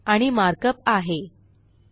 आणि मार्कअप आहे 2